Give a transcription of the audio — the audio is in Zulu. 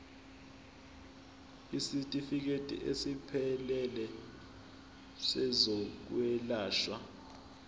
isitifikedi esiphelele sezokwelashwa